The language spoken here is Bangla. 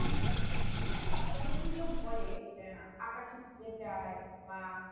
হ্যাঁ তোকে যদি কেউ বলে আহ আঁকা শিখতে চায় বা